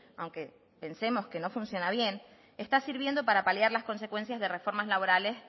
aunque pensemos que no funciona bien está sirviendo para paliar las consecuencias de reformas laborales